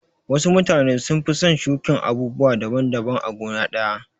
Wasu mutane sun fi son shuƙin abubuwa daban daban a gona ɗaya.